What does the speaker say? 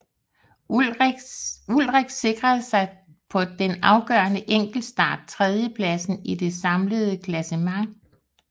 Ullrich sikrede sig på den afgørende enkeltstart tredjepladsen i det samlede klassement